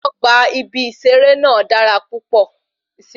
Ọgbà ibí seré náà dára púpọ̀